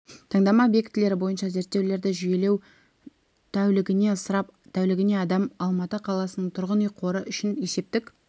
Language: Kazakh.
таңдама объектілері бойынша зерттеулерді жүйелеу тәулігіне ысырап тәулігіне адам алматы қаласының тұрғын үй қоры үшін есептік